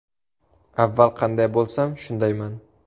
Avval qanday bo‘lsam, shundayman.